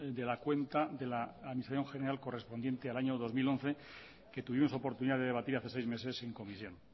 de la cuenta de la administración general correspondiente al año dos mil once que tuvimos oportunidad de debatir hace seis meses en comisión